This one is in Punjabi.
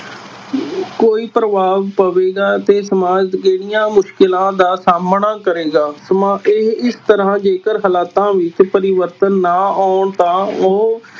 ਕੋਈ ਪ੍ਰਭਾਵ ਪਵੇਗਾ ਤੇ ਸਮਾਜ ਕਿਹੜੀਆਂ ਮੁਸ਼ਕਿਲਾਂ ਦਾ ਸਾਹਮਣਾ ਕਰੇਗਾ, ਸਮਾ~ ਇਹ ਇਸ ਤਰ੍ਹਾਂ ਜੇਕਰ ਹਾਲਾਤਾਂ ਵਿਚ ਪਰਿਵਰਤਨ ਨਾ ਆਉਣ ਤਾਂ ਉਹ